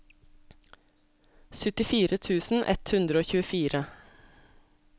syttifire tusen ett hundre og tjuefire